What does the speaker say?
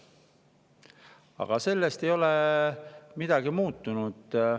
Aga sellest ei ole midagi muutunud.